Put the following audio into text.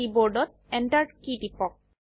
কীবোর্ডত Enter key টিপক